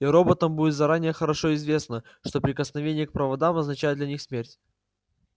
и роботам будет заранее хорошо известно что прикосновение к проводам означает для них смерть